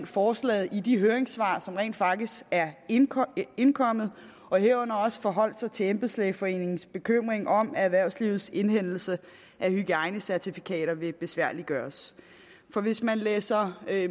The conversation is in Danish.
forslaget i de høringssvar som rent faktisk er indkommet indkommet herunder også forholdt sig til embedslægeforeningens bekymring om at erhvervslivets indhentelse af hygiejnecertifikater vil besværliggøres for hvis man læser